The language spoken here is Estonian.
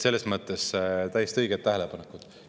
Selles mõttes täiesti õiged tähelepanekud.